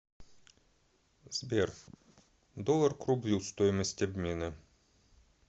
сбер доллар к рублю стоимость обмена